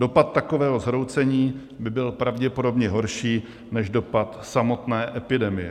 Dopad takového zhroucení by byl pravděpodobně horší než dopad samotné epidemie.